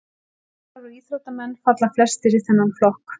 Dansarar og íþróttamenn falla flestir í þennan flokk.